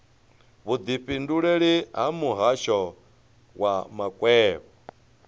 vhudifhinduleleli ha muhasho wa makwevho